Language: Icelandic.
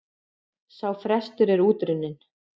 Sá frestur er út runninn.